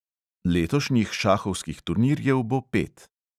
Letošnjih šahovskih turnirjev bo pet.